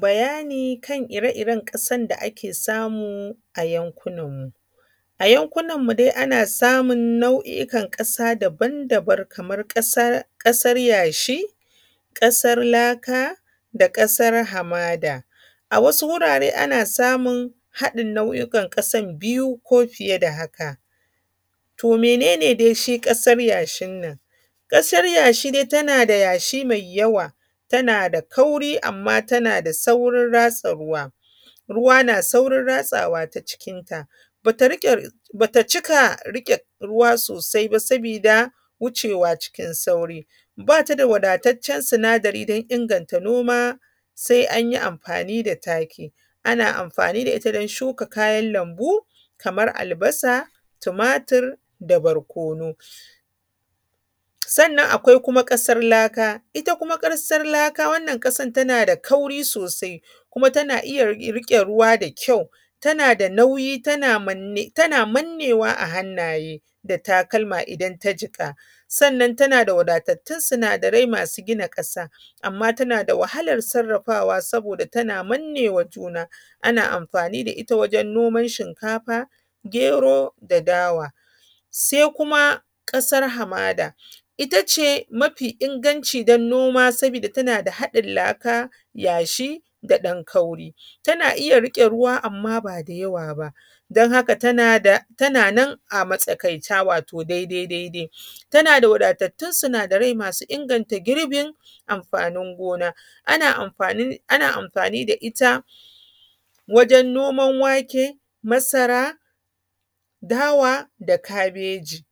Bayani kan ire iren ƙasan da ake samu a yankuna mu. A yankunan mu dai ana samun nau’ikan ƙasa daban daban kaman ƙasar yashi, ƙasar laka, da ƙasar Hamada. A wasu wurare ana samun haɗin nau’ikan ƙasan biyu ko fiye da haka. To menene dai shi ƙasar yashin nan? Ƙasar yashi dai tana da yashi mai yawa, tana da kauri, amman tana da saurin ratsa ruwa, ruwa na saurin ratsawa ta cikinta. Ba ta cika riƙe ruwa sosai ba sabida wucewa cikin sauri. Ba ta da wadataccen sinadari don inganta noma sai anyi amfani da taki. Ana amfani da ita don shuka kayan lambu kamar albasa, tumatur, da barkono. Sannan akwai kuma ƙasar laka. Ita kuma ƙasar laka wannan ƙasar tana da kauri sosai, kuma tana iya riƙe ruwa da kyau, tana da nauyi, tana mannewa a hannaye da takalma idan ta jika. Sannan tana da wadattun sinadarai masu gina ƙasa. Amman tana da wahalan sarrafawa saboda tana mannewa wa juna. Ana amfani da ita wajan noman shinkafa, gero, da dawa. Sai kuma ƙasar hamada itace mafi inganci don noma sabida tana da haɗin laka, yashi, da ɗan kauri, tana iya riƙe ruwa, amman ba da yawa ba don haka tana nan a matsakaita. Wato dai dai dai tana da wadatattun sinadarai masu inganta girbin amfanin gona. Ana amfanin da ita wajan noman wake, masara, dawa, da kabeji.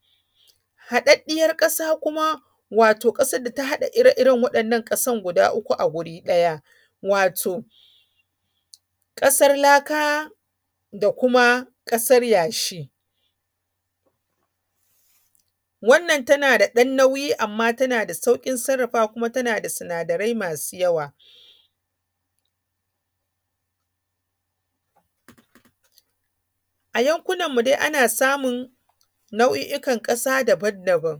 Haɗaɗɗiyan ƙasa kuma wato ƙasan da ta haɗa ire iren waɗannan ƙasan guda uku a guri ɗaya wato ƙasar laka, da kuma ƙasar yashi, wannan tana da ɗan nauyi amman tana da sauƙin sarrafawa, kuma tana da sinadarai masu yawa. A yankunan mu dai ana samun nau’ikan ƙasa daban daban.